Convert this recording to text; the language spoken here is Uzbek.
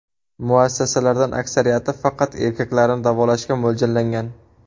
Muassasalardan aksariyati faqat erkaklarni davolashga mo‘ljallangan.